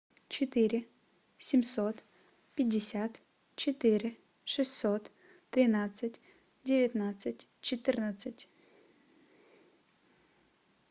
четыре семьсот пятьдесят четыре шестьсот тринадцать девятнадцать четырнадцать